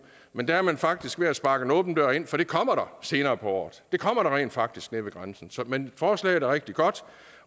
men der er man faktisk ved at sparke en åben dør ind for det kommer der senere på året det kommer der rent faktisk nede ved grænsen men forslaget er rigtig godt